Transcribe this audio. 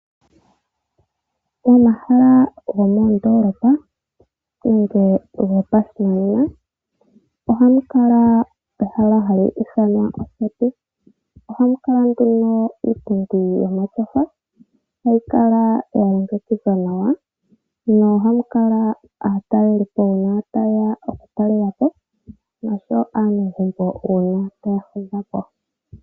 Momahala gomoondoolopa nenge gopashinanena ohamu kala ehala hali ithanwa oseti. Ohamu kala nduno iipundi yomatyofa, hayi kala ya longekidhwa nawa, nohamu kala aatalelipo uuna taye ya okutalela po nosho wo aanegumbo uuna taa fudha po.